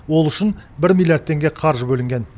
ол үшін бір миллиард теңге қаржы бөлінген